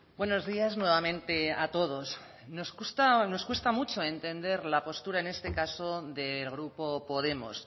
buenos días nuevamente a todos nos cuesta nos cuesta mucho entender la postura en este caso del grupo podemos